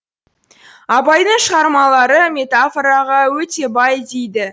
абайдың шығармалары метафораға өте бай дейді